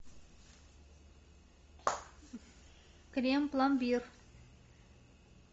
крем пломбир